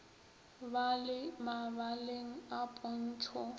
ba le mabaleng a pontšho